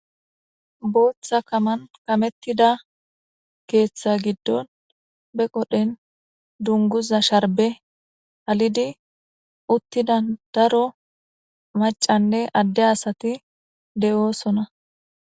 booththa kaman kamettida keeththa giddon be qodhen dunguza sharbe halidi uttida daro macanne adde asati de7oosona.